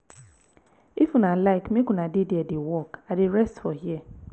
if una like make una dey there dey work i dey rest for here